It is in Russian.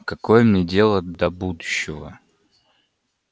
какое мне дело до будущего